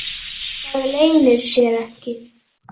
Það leynir sér ekki.